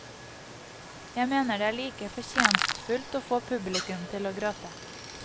Jeg mener det er like fortjenestfullt å få publikum til å gråte.